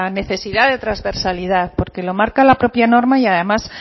necesidad de transversalidad porque lo marca la propia norma y además